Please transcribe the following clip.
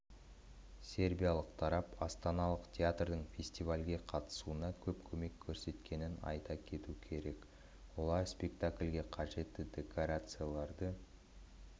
сербиялық тарап астаналық театрдың фестивальге қатысуына көп көмек көрсеткенін айта кету керек олар спектакльге қажетті декорацияларды